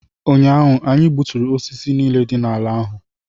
ụnyahụ, anyị gbuturu osisi niile dị n’ala ahụ